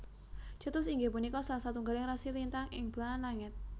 Cetus inggih punika salah satunggaling rasi lintang ing belahan langit